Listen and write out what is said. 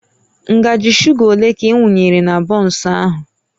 Ngaji shuga ole ka ị wunyere na bọnsụ ahụ?